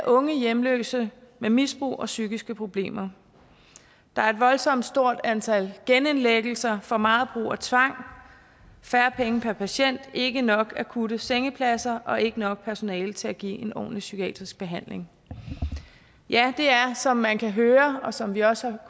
unge hjemløse med misbrug og psykiske problemer der er et voldsomt stort antal genindlæggelser for meget brug af tvang færre penge per patient ikke nok akutte sengepladser og ikke nok personale til at give ordentlig psykiatrisk behandling ja det er som man kan høre og som vi også